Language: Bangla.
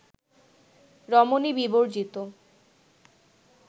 রমণী বিবর্জিত